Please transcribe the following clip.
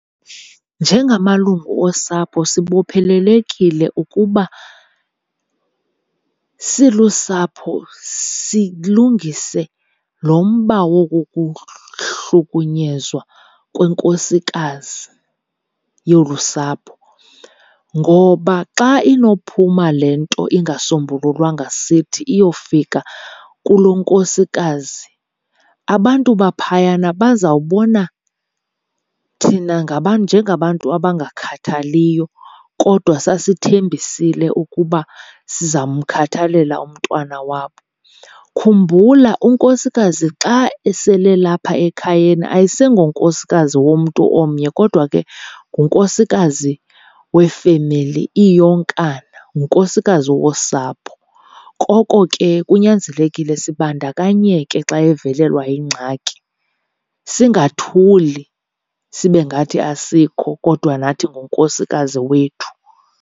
Njengamalungu osapho sibophelelekile ukuba silusapho silungise lo mba woku kuhlukunyezwa konkosikazi yolusapho. Ngoba xa inophuma le nto ingasombululwanga sithi iyofika kulonkosikazi, abantu baphayana bazawubona thina njengabantu abangakhathaliyo kodwa sasithembisile ukuba sizamkhathalela umntwana wabo. Khumbula unkosikazi xa esele lapha ekhayeni ayisengonkosikazi womntu omnye kodwa ke ngunkosikazi wefemeli iyonkana, ngunkosikazi wosapho koko ke kunyanzelekile sibandakanyeke xa evelelwa yingxaki. Singathuli sibengathi asikho kodwa nathi ngunkosikazi wethu.